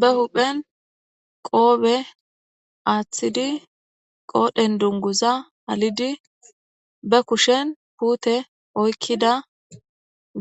be huphen qoobe aaththidi qoodhen dunguza halidi be kushen puute oykkida